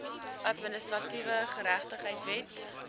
administratiewe geregtigheid wet